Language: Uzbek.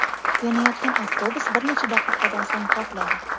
Yonayotgan avtobus bir necha daqiqadan so‘ng portladi.